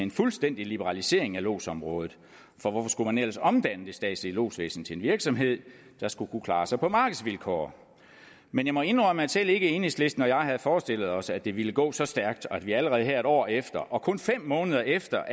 en fuldstændig liberalisering af lodsområdet for hvorfor skulle man ellers omdanne det statslige lodsvæsen til en virksomhed der skulle kunne klare sig på markedsvilkår men jeg må indrømme at selv ikke enhedslisten og jeg havde forestillet os at det ville gå så stærkt og at vi allerede her en år efter og kun fem måneder efter